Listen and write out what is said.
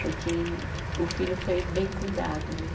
Porque o filho foi bem cuidado, né?